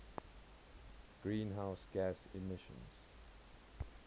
greenhouse gas emissions